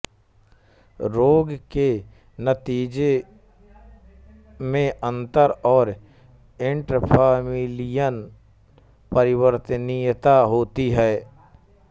रोग के नतीजे में अंतर और इंट्राफमिलियल परिवर्तनीयता होती है